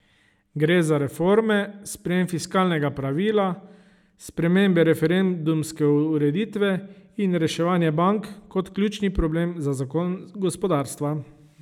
Gre za reforme, sprejem fiskalnega pravila, spremembe referendumske ureditve in reševanje bank kot ključni problem za zagon gospodarstva.